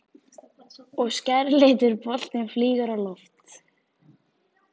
Og skærlitur boltinn flýgur á loft.